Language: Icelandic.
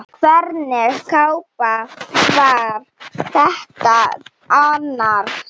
Hvernig kápa var þetta annars?